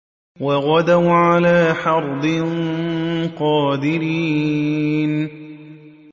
وَغَدَوْا عَلَىٰ حَرْدٍ قَادِرِينَ